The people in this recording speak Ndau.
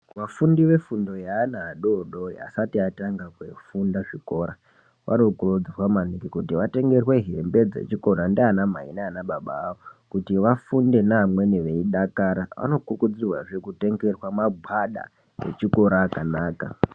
Vafundi vefundo yevana vadoodori vasati vatanga kufunda zvikora vanokurudzirwa yaamho kuti vatengerwe hembe dzechikora ngaana mai nababa vavo kuti vafunde neamweni vechidakara. Vanokurudzirwazve kuti vatenge magwada echikora akanaka.